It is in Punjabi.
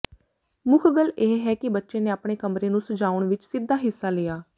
ਮੁੱਖ ਗੱਲ ਇਹ ਹੈ ਕਿ ਬੱਚੇ ਨੇ ਆਪਣੇ ਕਮਰੇ ਨੂੰ ਸਜਾਉਣ ਵਿੱਚ ਸਿੱਧਾ ਹਿੱਸਾ ਲਿਆ